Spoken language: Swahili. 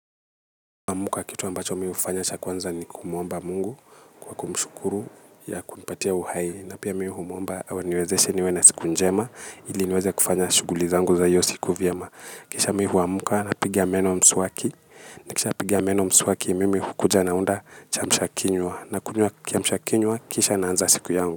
Amka kitu ambacho mihufanya cha kwanza ni kumuomba mungu kwa kumshukuru ya kunipatia uhai. Na pia mihumuomba awaniwezeshe niwe na siku njema ili niweze kufanya shuguli zangu za iyo siku vyema. Kisha mihu wamuka na piga meno msuwaki. Na kisha piga meno msuwaki mimi hukuja naunda cha mshakinywa. Na kunywa kiamshakinywa kisha naanza siku yangu.